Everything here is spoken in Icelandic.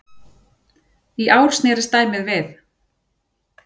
Í ár snerist dæmið við.